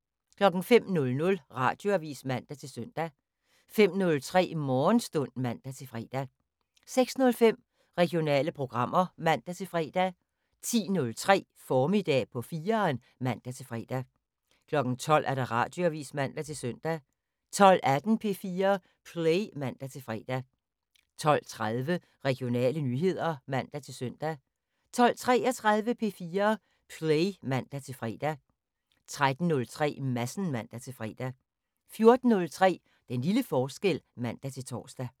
05:00: Radioavis (man-søn) 05:03: Morgenstund (man-fre) 06:05: Regionale programmer (man-fre) 10:03: Formiddag på 4'eren (man-fre) 12:00: Radioavis (man-søn) 12:18: P4 Play (man-fre) 12:30: Regionale nyheder (man-søn) 12:33: P4 Play (man-fre) 13:03: Madsen (man-fre) 14:03: Den lille forskel (man-tor)